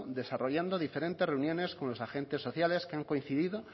desarrollando diferentes reuniones con los agentes sociales que han coincidido